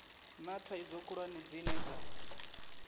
na thaidzo khulwane dzine dza